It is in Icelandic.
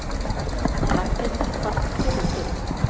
En Ragnhildur varð fyrri til.